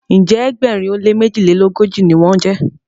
njé Egbèrin o lẹ mejilelogoji ní wón jé.